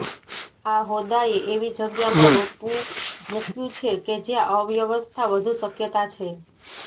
આ હોદ્દાએ એવી જગ્યામાં રોપવું મૂક્યું છે કે જ્યાં અવ્યવસ્થા વધુ શક્યતા છે